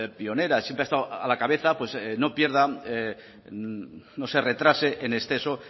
pionera siempre ha estado a la cabeza pues no pierda no se retrase en exceso